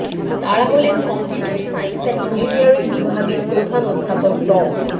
তারা হলেন computer science and engineering বিভাগের প্রধান অধ্যাপক ড